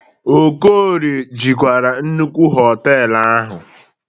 Okorie jikwara nnukwu họtelụ ahu.